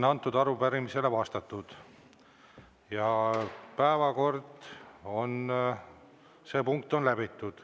Arupärimisele on vastatud ja see päevakorrapunkt on läbitud.